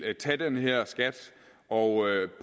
tage den her skat og